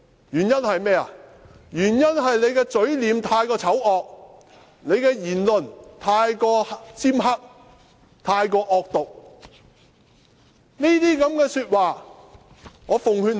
原因是他的嘴臉太過醜惡，他的言論太過尖刻，太過惡毒。